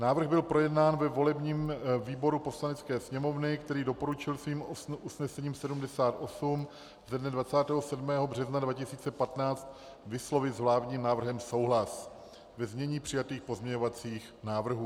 Návrh byl projednán ve volebním výboru Poslanecké sněmovny, který doporučil svým usnesením 78 ze dne 27. března 2015 vyslovit s vládním návrhem souhlas ve znění přijatých pozměňovacích návrhů.